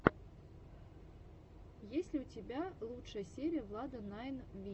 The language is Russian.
есть ли у тебя лучшая серия влада найн вити